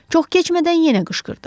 Çox keçmədən yenə qışqırdı.